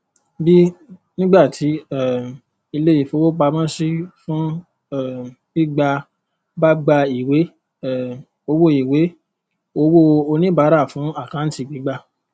b nígbàtí um ilé ìfowópamọsí fún um gbígbà bá gba ìwé um owó ìwé owóo oníbàárà fún àkáǹtì gbígbà